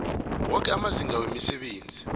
woke amazinga wemisebenzi